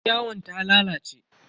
Yaryawon ta lalace.